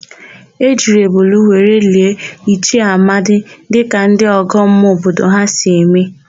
E jiri ebule were lie Ichie Amadi dịka ndị ọgọmmụọ obodo ha si eme.